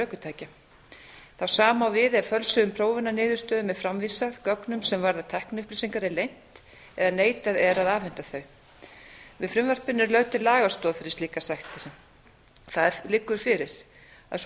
ökutækja það sama á við ef um fölsuðum prófunarniðurstöðum er framvísað gögnum sem varða tækniupplýsingar er leynt eða neitað er að afhenda þau með frumvarpinu er lögð til lagastoð fyrir slíkar sektir það liggur fyrir að sú